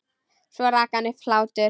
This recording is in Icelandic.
Svo rak hann upp hlátur.